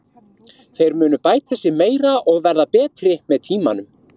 Þeir munu bæta sig meira og verða betri með tímanum.